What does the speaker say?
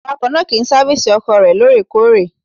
Awakọ̀ náà kì í sáfísì ọkọ̀ rẹ̀ lóòrèkóòrè.